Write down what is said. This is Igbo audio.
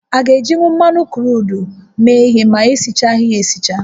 A ga-ejinwu mmanụ kruudu méé ihé na-esichaghị ya esicha?